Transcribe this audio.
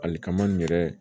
Ali kaman nin yɛrɛ